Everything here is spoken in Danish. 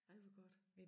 Ej hvor godt